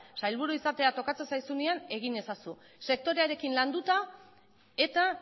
sailburu izatea tokatzen zaizunean egin ezazu sektorearekin landuta eta